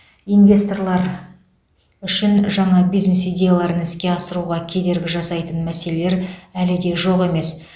инвесторлар үшін жаңа бизнес идеяларын іске асыруға кедергі жасайтын мәселелер әлі де жоқ емес